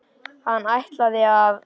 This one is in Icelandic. Hann ætlaði að.